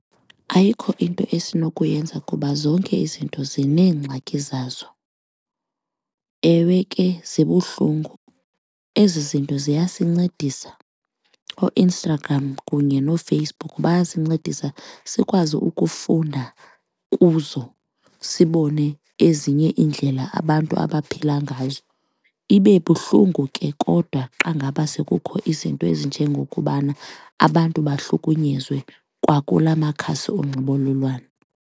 Ayikho into esinokuyenza kuba zonke izinto zineengxaki zazo. Ewe ke, zibuhlungu, ezi zinto ziyasincedisa ooInstagram kunye noFacebook. Bayasincedisa sikwazi ukufunda kuzo sibone ezinye iindlela abantu abaphila ngazo. Ibe buhlungu ke kodwa xa ngaba sekukho izinto ezinjengokubana abantu bahlukunyezwe kwakula makhasi onxibelelwano.